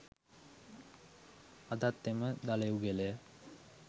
අදත් එම දළ යුගලය